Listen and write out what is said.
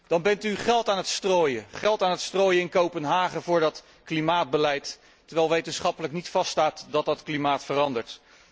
Dan bent u geld aan het strooien in Kopenhagen voor dat klimaatbeleid, terwijl wetenschappelijk niet vaststaat dat dat klimaat verandert.